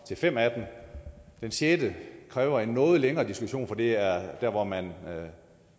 til fem af dem det sjette kræver en noget længere diskussion for det er der hvor man